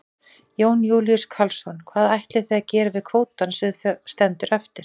Jón Júlíus Karlsson: Hvað ætlið þið að gera við kvótann sem að stendur eftir?